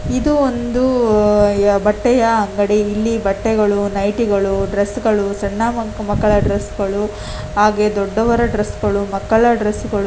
ಇದು ಒಂದು ಬಟ್ಟೆಯ ಅಂಗಡಿ ಇಲ್ಲಿ ಬಟ್ಟೆಗಳು ನೈಟಿಗಳು ಡ್ರಸ್ಸ ಗಳು ಸಣ್ಣ ಮಕ್ಕಳ ಡ್ರೆಸ್ಸ ಗಳು ಹಾಗೆ ದೊಡ್ಡವರ ಡ್ರೆಸ್ಸ ಗಳು ಮಕ್ಕಳ ಡ್ರೆಸ್ಸ ಗಳು .